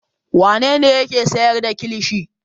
Wane ne yake sayar da kilishi?